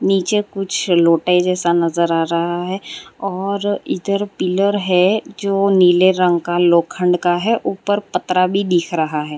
नीचे कुछ लौटे जैसा नज़र आ रहा है और इधर पिलर है जो नीले रंग का लोखंड का है ऊपर पत्थरा भी दिख रहा है।